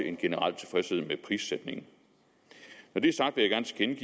en generel tilfredshed med prissætningen når det er sagt vil jeg gerne